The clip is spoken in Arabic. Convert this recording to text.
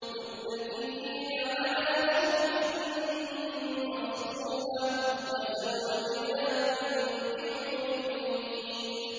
مُتَّكِئِينَ عَلَىٰ سُرُرٍ مَّصْفُوفَةٍ ۖ وَزَوَّجْنَاهُم بِحُورٍ عِينٍ